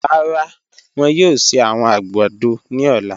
Rara, wọn yoo ṣe awọn agbado ni ọla.